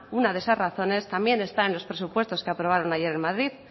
una de esas razones también está en los presupuestos que aprobaron ayer en madrid